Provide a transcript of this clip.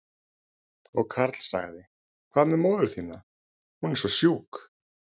Og Karl sagði, hvað með móður þína, hún er svo sjúk?